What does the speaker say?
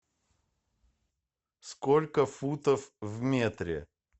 сколько футов в метре